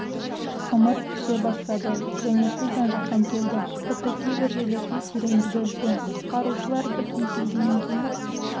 ымырт түсе бастады және су жан-жақтан келді тіпті кейбір жерлерде тереңдігі үлкен құтқарушылар бірден келгеннен кейін